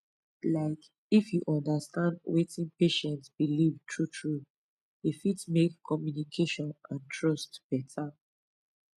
like if you understand wetin patient believe truetrue e fit make communication and trust better